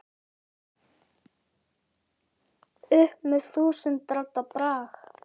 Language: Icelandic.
upp með þúsund radda brag.